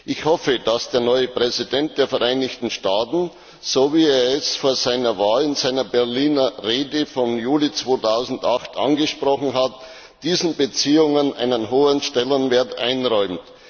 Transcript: Ich hoffe, dass der neue Präsident der Vereinigten Staaten, so wie er es vor seiner Wahl in seiner Berliner Rede vom Juli 2008 angesprochen hat, diesen Beziehungen einen hohen Stellenwert einräumt.